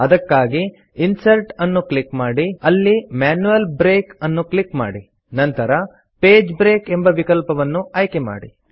ಅದಕ್ಕಾಗಿ ಇನ್ಸರ್ಟ್ ಅನ್ನು ಕ್ಲಿಕ್ ಮಾಡಿ ಅಲ್ಲಿ ಮ್ಯಾನ್ಯುಯಲ್ ಬ್ರೇಕ್ ಅನ್ನು ಕ್ಲಿಕ್ ಮಾಡಿ ನಂತರ ಪೇಜ್ ಬ್ರೇಕ್ ಎಂಬ ವಿಕಲ್ಪವನ್ನು ಆಯ್ಕೆ ಮಾಡಿ